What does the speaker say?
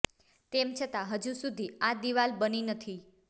તેમ છતાં હજુ સુધી આ દિવાલ બની નથી